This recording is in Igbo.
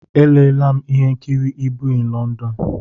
Elela'm ihe nkiri Mr Ibu in London.